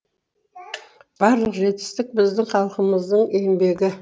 барлық жетістік біздің халқымыздың еңбегі